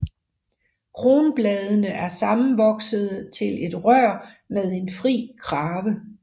Kronbladene er sammenvoksede til et rør med en fri krave